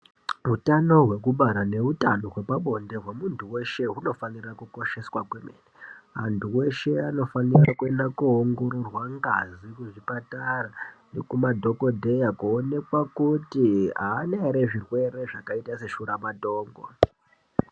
Hutano hwekubara nehutano hwepabonde hwemuntu weshe hunofanira kukosheswa kwemene antu eshe anofanira kuongororwa ngazi zveshe zvipatara nekumadhokodheyan koonekwa kuti haaana here zvirwere zveshuwa matongo.